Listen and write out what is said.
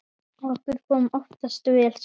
Okkur kom oftast vel saman.